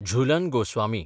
Jhulan Goswami